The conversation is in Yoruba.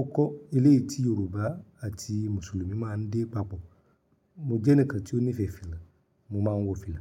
ọkọ́, eléyi ti Yorùbá àti Mùsùlùmí máa ń dé papọ̀. Mo jẹ́ ẹnìkan tí ó nífẹ̀ẹ́ fìlà, mo máa ń wọ fìlà.